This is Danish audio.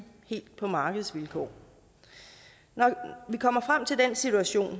helt på markedsvilkår når vi kommer frem til den situation